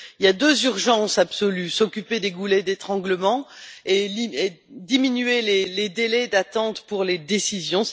Il y a deux urgences absolues s'occuper des goulets d'étranglement et diminuer les délais d'attente pour les décisions.